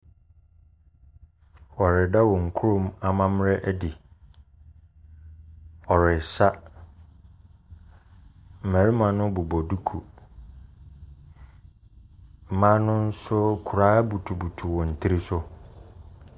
Wɔreda wɔn kuro mu amammerɛ adi. Wɔresa. Mmarima no bobɔ duku. Mmaa no nso, koraa butubutu wɔn tiri so.